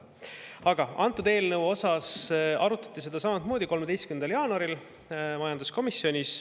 Aga seda eelnõu arutati samamoodi 13. jaanuaril majanduskomisjonis.